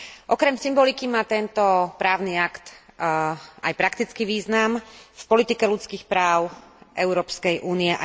Okrem symboliky má tento právny akt aj praktický význam v politike ľudských práv Európskej únie.